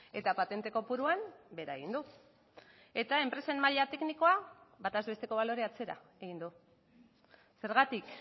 eta patente kopuruan bera egin du eta enpresen maila teknikoa bataz besteko balorea atzera egin du zergatik